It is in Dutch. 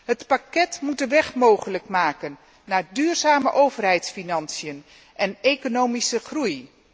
Het pakket moet de weg mogelijk maken naar duurzame overheidsfinanciën en economische groei.